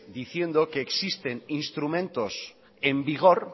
diciendo que existen instrumento en vigor